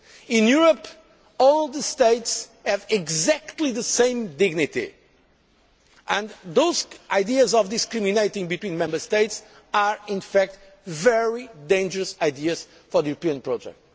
In Europe, all the states have exactly the same dignity and those ideas of discriminating between Member States are, in fact, very dangerous ideas for the European project.